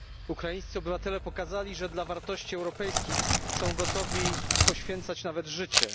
Ukraińscy obywatele pokazali, że dla wartości europejskich są gotowi poświęcać nawet życie.